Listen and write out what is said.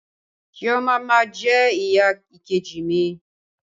Chioma ma jẹ ìyá ìkejì mi.